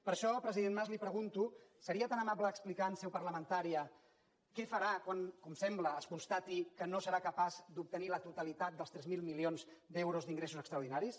per això president mas li pregunto seria tan amable d’explicar en seu parlamentària què farà quan com sembla es constati que no serà capaç d’obtenir la totalitat dels tres mil milions d’euros d’ingressos extraordinaris